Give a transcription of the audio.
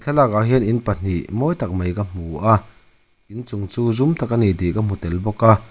thlalak ah hian in pahnih mawi tak mai ka hmu a in chung chu zum tak ani tih ka hmu tel bawk a.